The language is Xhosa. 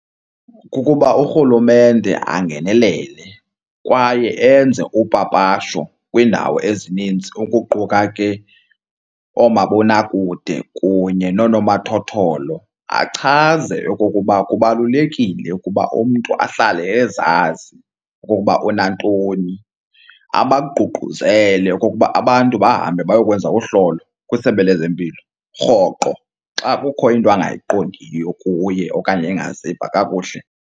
Kukuba urhulumente angenelele kwaye enze upapasho kwiindawo ezininzi ukuquka ke oomabonakude kunye noonomathotholo achaze okokuba kubalulekile ukuba umntu ahlale ezazi ukuba unantoni. Abaququzele okokuba abantu bahambe bayokwenza uhlolo kwisebe lezempilo rhoqo xa kukho into angayiqondiyo kuye okanye engaziva kakuhle.